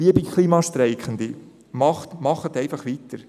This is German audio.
Liebe Klimastreikende, macht einfach weiter!